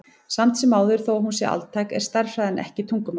Samt sem áður, þó að hún sé altæk, er stærðfræðin ekki tungumál.